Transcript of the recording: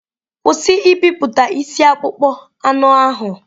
Kwụsị ibipụta isi akpụkpọ anụ ahụ!